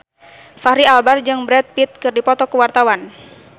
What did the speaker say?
Fachri Albar jeung Brad Pitt keur dipoto ku wartawan